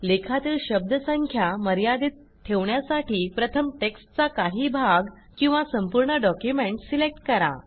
लेखातील शब्दसंख्या मर्यादित ठेवण्यासाठी प्रथम टेक्स्टचा काही भाग किंवा संपूर्ण डॉक्युमेंट सिलेक्ट करा